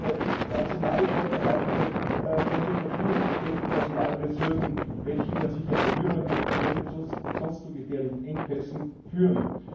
Insbesondere nationale Vorbehalte von zur Verfügung gestellten Personalressourcen, welche ich an sich ja befürworte, könnten sonst zu gefährlichen Engpässen führen.